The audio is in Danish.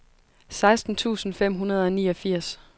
seksten tusind fem hundrede og niogfirs